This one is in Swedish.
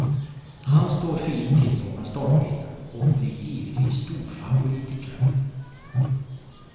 Han står fint till bakom startbilen och blir givetvis storfavorit i kväll.